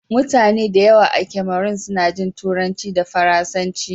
Mutane da yawa a Cameron suna jin Turanci da Faransanci.